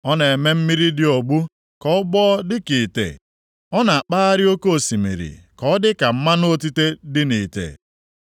Ọ na-eme mmiri dị ogbu ka ọ gbọọ dịka ite; ọ na-akpagharị oke osimiri ka ọ dị ka mmanụ otite dị nʼite.